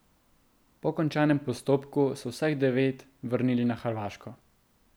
Po končanem postopku so vseh devet vrnili na Hrvaško.